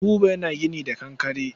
Buba yana gini da kankare.